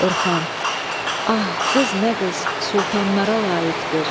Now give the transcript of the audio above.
Orxan: Ah, qız nə qız, sultanlara layiqdir.